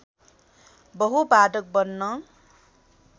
बहु वादक बन्न